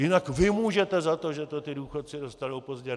Jinak vy můžete za to, že to ti důchodci dostanou pozdě.